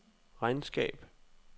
regnskab